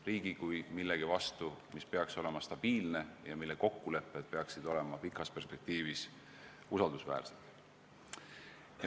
Riik peaks olema stabiilne ja üleüldised kokkulepped peaksid olema pikas perspektiivis usaldusväärsed.